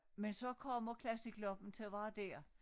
Men så kommer Classicloppen til at være dér